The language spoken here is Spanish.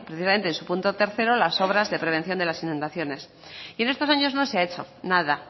precisamente en su punto tercero las obras de prevención de las inundaciones y en estos años no se ha hecho nada